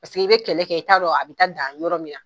Parce que i bi kɛlɛ kɛ i t'a dɔn, a bi taa dan yɔrɔ min